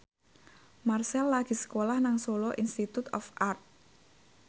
Marchell lagi sekolah nang Solo Institute of Art